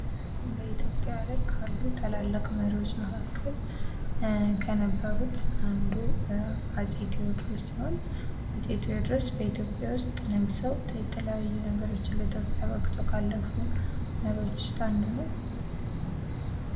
በኢትዮጵያ ላይ ካሉ ታላላቅ መሪዎች መካከል ከነበሩት አንዱ አፄ ቴዎድሮስ ሲሆን ዓፄ ቴዎድሮስ በኢትዮጲያ ውስጥ ነግሰው የተለያዩ ነገሮችን ለኢትዮጵያ በእርርክተው ካለፉ መሪዎቹ ውስጥ አንዱ ነው።